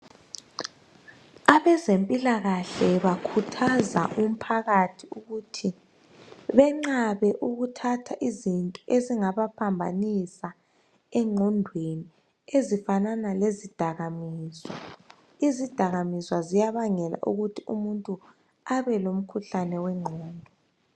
Abezempilakahle bakhuthaza umphakathi ukuthi bengqabe ukuthatha izinto ezingabaphambanisa engqondweni ezifanana lezidakamiswa izidakamiswa ziyabangela ukuthi umuntu abe lomkhuhlane wengqondo